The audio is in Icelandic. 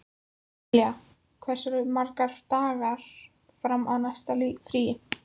Emilía, hversu margir dagar fram að næsta fríi?